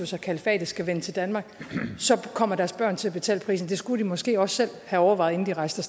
sig kalifatet skal vende tilbage til danmark kommer deres børn til at betale prisen det skulle de måske også selv have overvejet inden de rejste